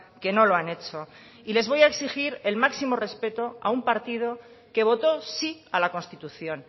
que no lo han hecho y les voy a exigir el máximo respeto a un partido que votó sí a la constitución